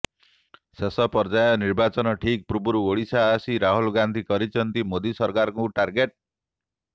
ଶେଷ ପର୍ଯ୍ୟାୟ ନିର୍ବାଚନ ଠିକ୍ ପୂର୍ବରୁ ଓଡ଼ିଶା ଆସି ରାହୁଲ ଗାନ୍ଧୀ କରିଛନ୍ତି ମୋଦି ସରକାରଙ୍କୁ ଟାର୍ଗେଟ୍